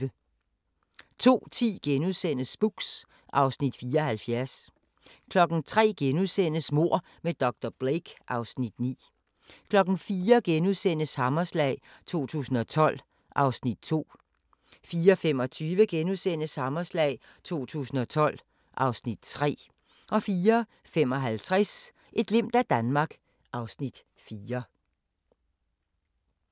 02:10: Spooks (Afs. 74)* 03:00: Mord med dr. Blake (Afs. 9)* 04:00: Hammerslag 2012 (Afs. 2)* 04:25: Hammerslag 2012 (Afs. 3)* 04:55: Et glimt af Danmark (Afs. 4)